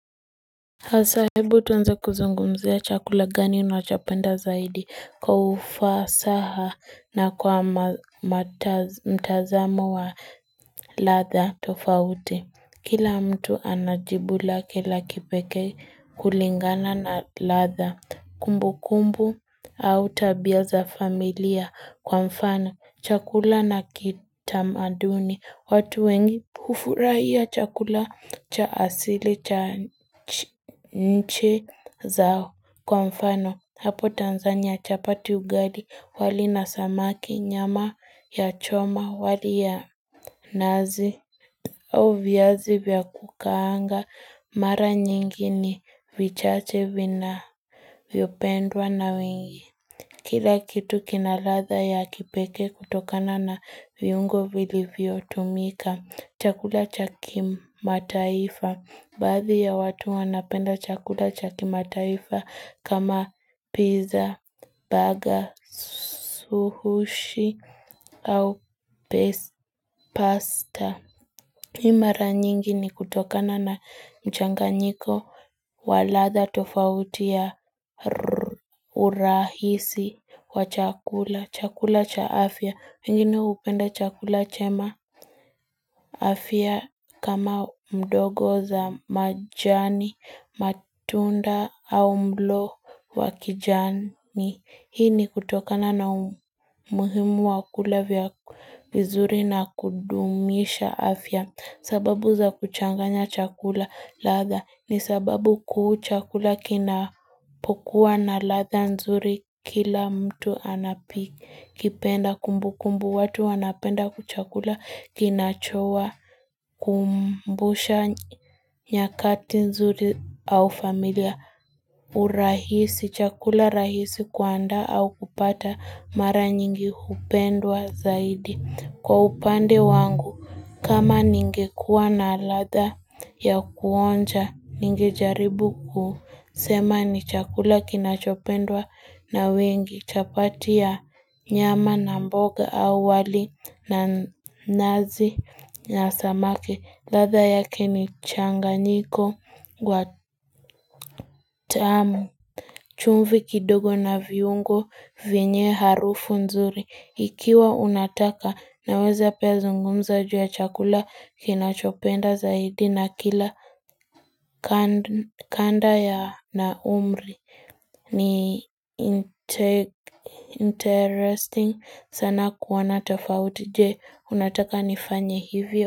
Hasa ebu tuanze kuzungumzia chakula gani unachapenda zaidi kwa ufasaha na kwa ma mataz mtazamo wa ladha tofauti Kila mtu ana jibu lake la kipekee kulingana na ladha kumbu kumbu au tabia za familia, kwa mfano chakula na kitamaduni watu wengi hufurahia chakula cha asili cha nche zao kwa mfano. Hapo Tanzania chapati ugali, wali na samaki, nyama ya choma, wali ya nazi au viazi vya kukaanga, mara nyingi ni vichache vinavyopendwa na wengi. Kila kitu kina ladha ya kipekee kutokana na viungo vilivyotumika chakula cha kimataifa, baadhi ya watu wanapenda chakula cha kimataifa kama pizza, burger, sushi au pes pasta. Hii mara nyingi ni kutokana na mchanganyiko wa ladha tofauti ya rr, urahisi wa chakula. Chakula cha afya. Wengine hupenda chakula chema afya kama mdogo za majani, matunda au mlo wa kijani. Hii ni kutokana na umuhimu wa kula vya vizuri na kudumisha afya. Sababu za kuchanganya chakula ladha ni sababu kuu chakula kinapokuwa na ladha nzuri. Kila mtu anapi kipenda kumbu kumbu watu wanapenda kuchakula kinacho wakumbusha nyakati nzuri au familia urahisi chakula rahisi kuandaa au kupata mara nyingi hupendwa zaidi. Kwa upande wangu, kama ningekuwa na ladha ya kuonja, ningejaribu kusema ni chakula kinachopendwa na wengi. Chapati ya nyama na mboga awali na nazi na samaki. Ladha yake ni changanyiko wa tamu. Chumvi kidogo na viungo, vienye harufu nzuri. Ikiwa unataka naweze pia zungumza juu ya chakula kinachopenda zaidi na kila kand kanda ya na umri. Ni inte interesting sana kuona tofauti je, unataka nifanye hivyo?